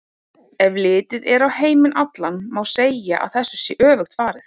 Ef litið er á heiminn allan má segja að þessu sé öfugt farið.